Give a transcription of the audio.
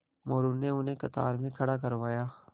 मोरू ने उन्हें कतार में खड़ा करवाया